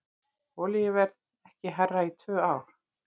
Olíuverð ekki hærra í tvö ár